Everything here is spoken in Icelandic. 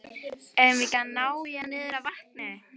Eigum við ekki að ná í hann niður að vatni?